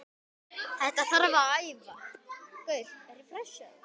Þetta þarf að æfa.